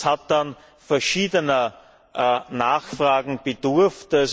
Es hat dann verschiedener Nachfragen bedurft.